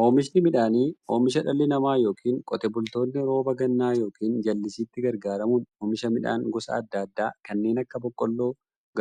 Oomishni midhaanii, oomisha dhalli namaa yookiin Qotee bultoonni roba gannaa yookiin jallisiitti gargaaramuun oomisha midhaan gosa adda addaa kanneen akka; boqqoolloo,